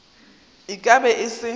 e ka be e se